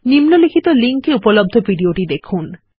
নিম্নলিখিত লিঙ্ক এ ভিডিওটি দেখুন